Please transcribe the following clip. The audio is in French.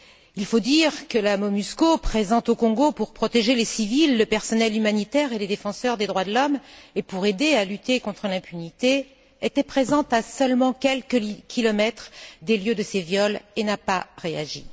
Il faut dire que la MONUSCO, présente au Congo pour protéger les civils, le personnel humanitaire et les défenseurs des droits de l'homme, et pour aider à lutter contre l'impunité, était présente à seulement quelques kilomètres des lieux de ces viols et n'a pas réagi.